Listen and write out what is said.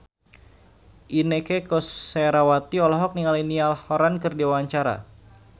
Inneke Koesherawati olohok ningali Niall Horran keur diwawancara